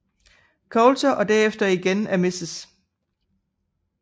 Coulter og derefter igen af Mrs